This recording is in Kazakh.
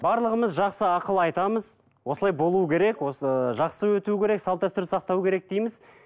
барлығымыз жақсы ақыл айтамыз осылай болу керек осы жақсы өту керек салт дәстүрді сақтау керек дейміз